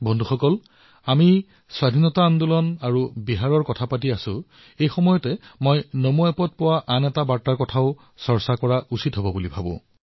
বন্ধুসকল আমি স্বাধীনতা আন্দোলন আৰু বিহাৰৰ বিষয়ে কথা কৈ থকাৰ সময়তে নমো এপলৈ অহা আৰু এটা টিপ্পনীৰ বিষয়ে আলোচনা কৰিবলৈ বিচাৰিছো